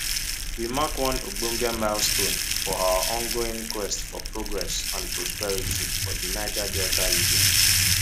we mark one ogbonge milestone for our ongoing quest for progress and prosperity for di niger delta region